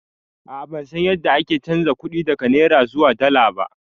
A'a bansan yadda ake chanza kuɗi daga naira zuwa dala ba